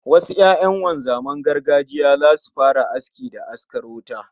Wasu 'ya'yan wanzaman gargajiya zasu fara aski da askar wuta